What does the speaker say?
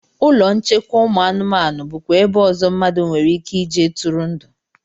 Ụlọ nchekwa ụmụ anụmanụ bụkwa ebe ọzọ mmadụ nwereike ije tụrụ ndụ